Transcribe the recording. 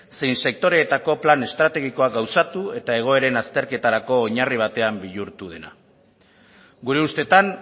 zein sektoreetako plan estrategikoak gauzatu eta egoeren azterketarako oinarri batean bihurtu dena gure ustetan